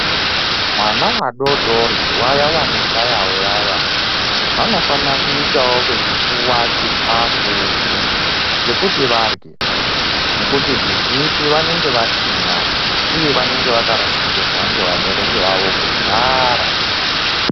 Vana vadori dori vaya vanoshayavo vaya vaya, vanofanira kuitawo veipuwa chikafu chekuti varye nekuti zvizhinji vanenge vasina uye vanenge vakarasikirwa ngevabereki vavo kudhara.